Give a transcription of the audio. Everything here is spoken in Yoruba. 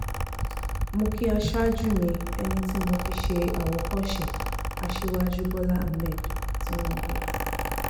mo kí aṣáájú mi ẹni tí mo fi ṣe àwòkọ́ṣe aṣíwájú bọ́lá ahmed tinubu